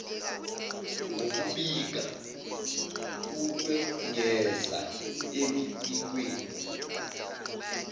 ngokubika ukwengeza emibikweni